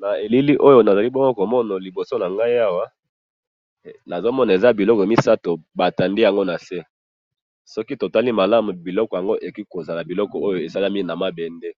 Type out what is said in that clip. Na elili oyo nazali bongo komona liboso nangayi awa, nazomona eza biloko misatu batandi yango nase, soki totali malamu biloko yango, ekoki kozala biloko oyo esalemi namabende,